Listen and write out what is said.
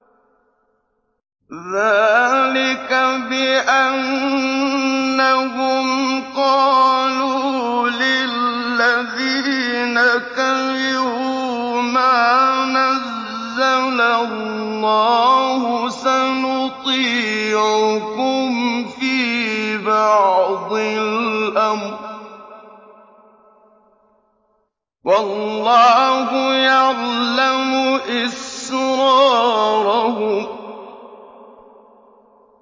ذَٰلِكَ بِأَنَّهُمْ قَالُوا لِلَّذِينَ كَرِهُوا مَا نَزَّلَ اللَّهُ سَنُطِيعُكُمْ فِي بَعْضِ الْأَمْرِ ۖ وَاللَّهُ يَعْلَمُ إِسْرَارَهُمْ